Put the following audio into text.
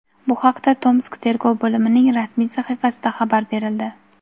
Bu haqda Tomsk tergov bo‘limining rasmiy sahifasida xabar berildi.